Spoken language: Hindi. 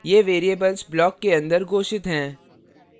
ये variables block के अंदर घोषित हैं